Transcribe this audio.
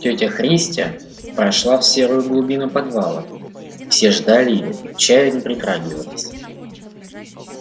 тётя христя прошла в серую глубину подвала все ждали её и к чаю не притрагивались